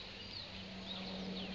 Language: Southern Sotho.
ba se ke ba nyantsha